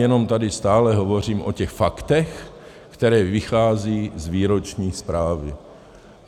Jenom tady stále hovořím o těch faktech, která vycházejí z výroční zprávy.